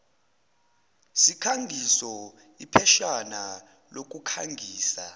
sikhangiso ipheshana lokukhangisa